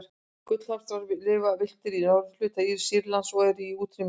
gullhamstur lifir villtur í norðurhluta sýrlands og er í útrýmingarhættu